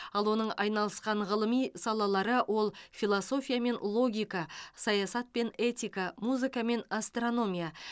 ал оның айналысқан ғылыми салалары ол философия мен логика саясат пен этика музыка мен астрономия